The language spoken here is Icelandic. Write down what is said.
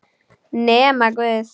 Nema guð.